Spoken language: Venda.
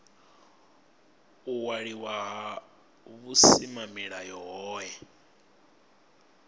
u waliwa ha vhusimamilayo hohe